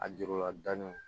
A jurula da ni